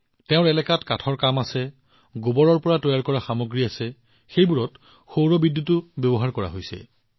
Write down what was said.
তেওঁলোকৰ এলেকাত কাঠৰ কাম হয় গোবৰৰ পৰা সামগ্ৰী তৈয়াৰ কৰা হয় আৰু সেইবোৰত সৌৰ বিদ্যুতো ব্যৱহাৰ কৰা হৈছে